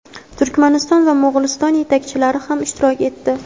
Turkmaniston va Mo‘g‘uliston yetakchilari ham ishtirok etdi.